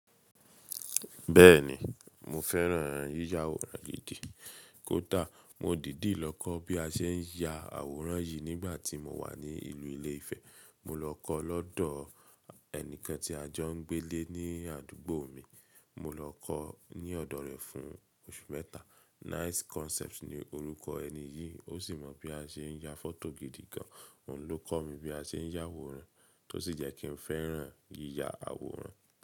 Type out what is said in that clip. Bẹ́ẹ̀ni, mo fẹ́ràn yíya àwòrán gidi. Kọ́ da, mo dìdí lọ kọ́ bí a ṣe ń ya àwòrán yìí nígbà tí mo wà ní ìlú ilé Ifẹ̀. Mo lọ kọ́ lọ́dọ̀ ẹni kan tí a jọ ń gbé lé ní àdúgbò mi. Mo lọ kọ ní ọ̀dọ̀ rẹ̀ fún oṣù mẹ́ta. Nice Concept ni orúkọ ẹni yìí. Ó sì mọ bí a ṣe ń ya fọ́tò gidi gan. Òun ló kọ́ mi bí a ṣe ń yá àwòrán, tó sì jẹ́ kí n fẹ́ràn yíya àwòrán.